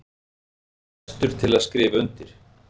Verð ég næstur til að skrifa undir?